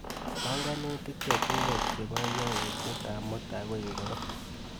Panganutik chechuket chebo yautyetap mutai ko ingoro?